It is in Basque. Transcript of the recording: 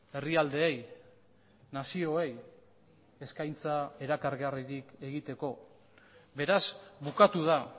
herrialdeei nazioei eskaintza erakargarririk egiteko beraz bukatu da